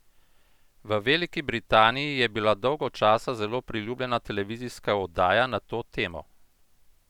V Veliki Britaniji je bila dolgo časa zelo priljubljena televizijska oddaja na to temo!